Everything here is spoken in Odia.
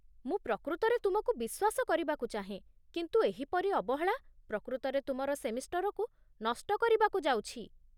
ମୁଁ ପ୍ରକୃତରେ ତୁମକୁ ବିଶ୍ୱାସ କରିବାକୁ ଚାହେଁ, କିନ୍ତୁ ଏହିପରି ଅବହେଳା ପ୍ରକୃତରେ ତୁମର ସେମିଷ୍ଟରକୁ ନଷ୍ଟ କରିବାକୁ ଯାଉଛି।